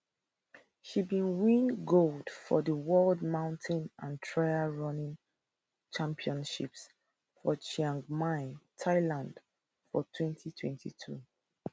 she bin win gold for di world mountain and trail running championships for chiang mai thailand for 2022